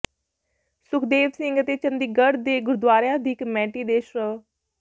ਸੁਖਦੇਵ ਸਿੰਘ ਅਤੇ ਚੰਡੀਗੜ੍ਹ ਦੇ ਗੁਰਦੁਆਰਿਆਂ ਦੀ ਕਮੇਟੀ ਦੇ ਸ੍ਰ